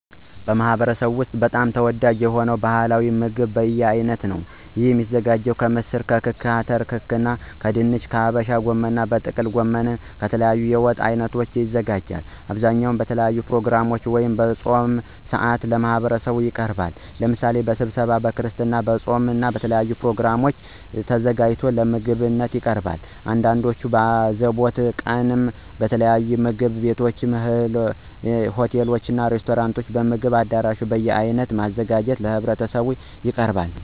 በማህበረሰቡ ወስጥ በጣም ተወዳጅ የሆነው ባህላዊ ምግብ በየአይነት ነው። የሚዘጋጀው ከምስር ክክ፣ አተር ክክ ከድንች፣ ከሀበሻ ጎመን፣ ከጥቅል ጎመን እና ከተለያዩ የወጥ አይነቶች ይዘጋጃል። በአብዛኛው በተለያዩ ፕሮግራሞች ወይም በፆም ሰአት ለህብረተሰቡ ይቀርባል። ለምሳሌ በስብሰባው፣ በክርስትና፣ በፆም እና በተለያዩ ፕሮግራሞች ተዘጋጅቶ ለምግብነት ይቀርባል። አንዳንዶቹም በአዘቦት ቀንም በተለያዩ ምግብ ቤቶችና፣ ሆቴሎች፣ ሬስቶራንቶችም፣ በምግብ አዳራሽ በየአይነት በማዘጋጀት ለህብረተሰቡ ያቀርባሉ።